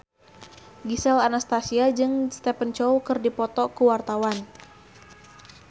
Gisel Anastasia jeung Stephen Chow keur dipoto ku wartawan